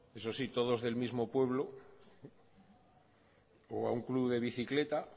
eso sí todos del mismo pueblo o a un club de bicicleta